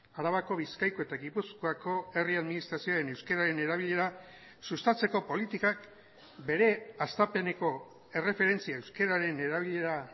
arabako bizkaiko eta gipuzkoako herri administrazioen euskararen erabilera sustatzeko politikak bere hastapeneko erreferentzia euskararen erabilera